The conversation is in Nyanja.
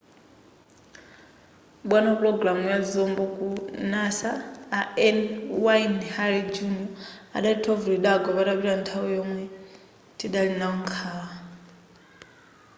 bwana wapulogalamu ya zombo ku nasa a n wayne hale jr adati thovu lidagwa patapita nthawi yomwe tidali nawo nkhawa